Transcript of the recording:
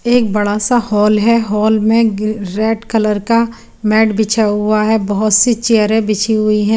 एक बड़ा सा हॉल है हॉल में रेड कलर का मेट बिछा हुआ है बोहोत सी चेयर बिची हुई है।